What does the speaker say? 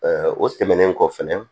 o tɛmɛnen kɔ fɛnɛ